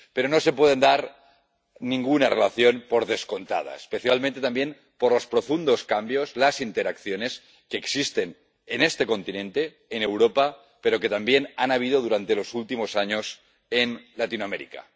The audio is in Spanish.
Pero no se puede dar ninguna relación por descontada, especialmente también por los profundos cambios, las interacciones que existen en este continente, en Europa, pero que también ha habido durante los últimos años en Latinoamérica.